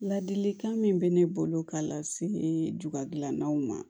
Ladilikan min bɛ ne bolo ka lase ju dilannaw ma